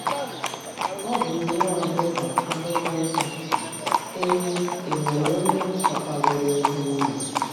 Ọ bụ nnọọ dị ka Akwụkwọ Nsọ na-ekwu: “ È È nwere onye chọtaworo ezi nwunye?